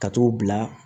Ka t'u bila